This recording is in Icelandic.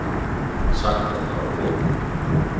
Sagt að fara á Vog